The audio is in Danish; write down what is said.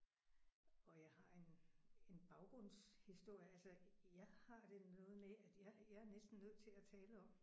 Og jeg har en en baggrundshistorie altså jeg har det noget med at jeg jeg er næsten nødt til at tale om